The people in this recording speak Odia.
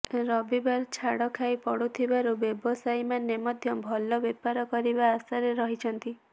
ରବିବାର ଛାଡ ଖାଇ ପଡୁଥିବାରୁ ବ୍ୟବସାୟୀ ମାନେ ମଧ୍ୟ ଭଲ ବେପାର କରିବା ଆଶାରେ ରହିଛନ୍ତି